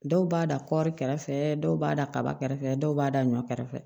Dɔw b'a da kɔri kɛrɛfɛ dɔw b'a da kaba kɛrɛfɛ dɔw b'a da ɲɔ kɛrɛfɛ